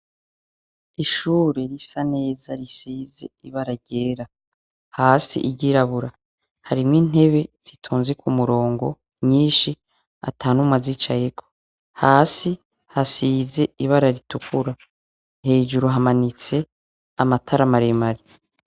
Ishure risa neza risize ibara ryera, hasi iry'irabura, harimwo intebe zitonze kumurongo nyinshi atanumwe azicayeko, hasi hasize ibara ritukura. hejuru hamanitse amatara maremare.